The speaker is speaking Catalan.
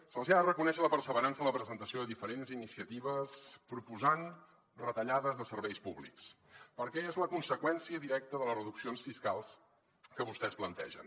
se’ls hi ha de reconèixer la perseverança en la presentació de diferents iniciatives proposant retallades de serveis públics perquè és la conseqüència directa de les reduccions fiscals que vostès plantegen